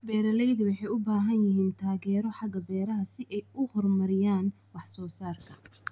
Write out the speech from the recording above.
Beeraleydu waxay u baahan yihiin taageero xagga beeraha si ay u horumariyaan wax-soo-saarka.